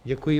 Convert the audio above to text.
Děkuji.